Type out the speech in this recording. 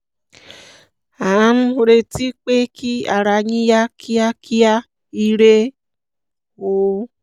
à ń retí pé kí ara yín yá kíákíá ire o